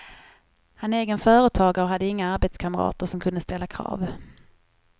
Han är egen företagare och hade inga arbetskamrater som kunde ställa krav.